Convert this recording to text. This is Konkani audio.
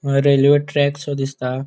रेल्वे ट्रॅकसो दिसता.